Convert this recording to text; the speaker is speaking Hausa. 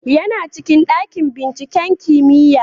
Yana cikin dakin binciken kimiyya